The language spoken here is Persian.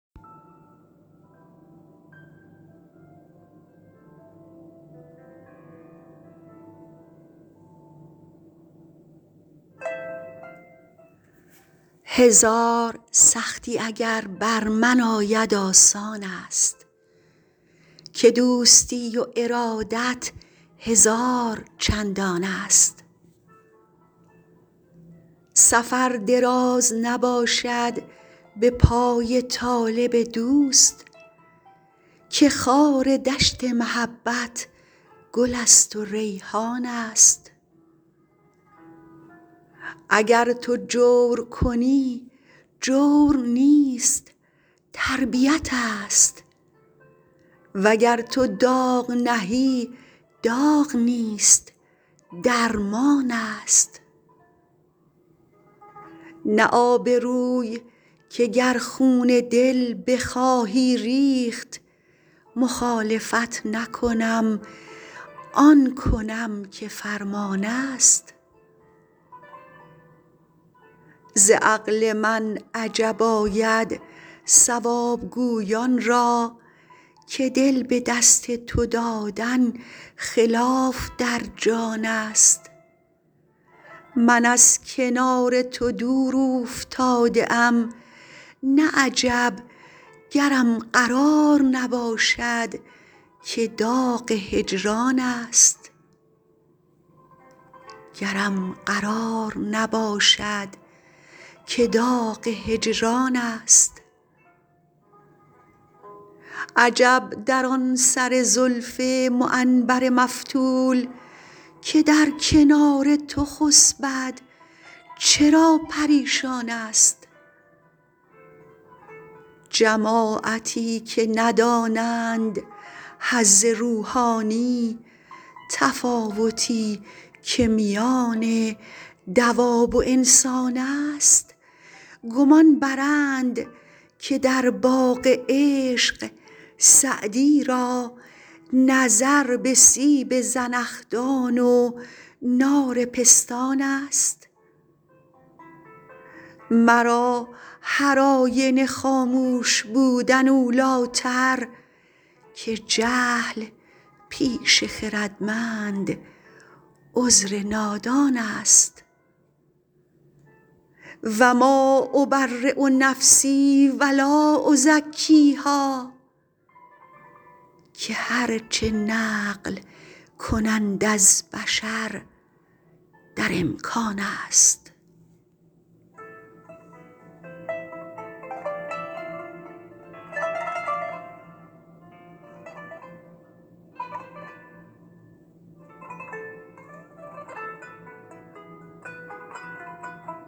هزار سختی اگر بر من آید آسان است که دوستی و ارادت هزار چندان است سفر دراز نباشد به پای طالب دوست که خار دشت محبت گل است و ریحان است اگر تو جور کنی جور نیست تربیت ست وگر تو داغ نهی داغ نیست درمان است نه آبروی که گر خون دل بخواهی ریخت مخالفت نکنم آن کنم که فرمان است ز عقل من عجب آید صواب گویان را که دل به دست تو دادن خلاف در جان است من از کنار تو دور اوفتاده ام نه عجب گرم قرار نباشد که داغ هجران است عجب در آن سر زلف معنبر مفتول که در کنار تو خسبد چرا پریشان است جماعتی که ندانند حظ روحانی تفاوتی که میان دواب و انسان است گمان برند که در باغ عشق سعدی را نظر به سیب زنخدان و نار پستان است مرا هرآینه خاموش بودن اولی تر که جهل پیش خردمند عذر نادان است و ما أبری نفسی و لا أزکیها که هر چه نقل کنند از بشر در امکان است